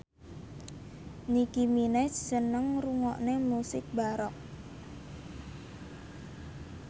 Nicky Minaj seneng ngrungokne musik baroque